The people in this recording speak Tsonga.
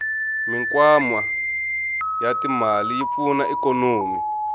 mikwama yatimale yipfuna ikonomi